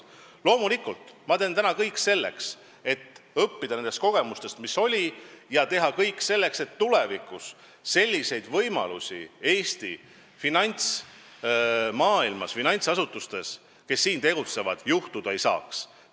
Loomulikult, ma teen täna kõik selleks, et õppida nendest kogemustest, mis olid, ja teha kõik selleks, et tulevikus selliseid võimalusi Eestis tegutsevates finantsasutustes olla ei saaks.